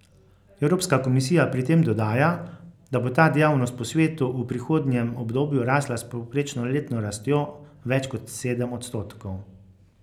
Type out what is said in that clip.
Evropska komisija pri tem dodaja, da bo ta dejavnost po svetu v prihodnjem obdobju rasla s povprečno letno rastjo več kot sedem odstotkov.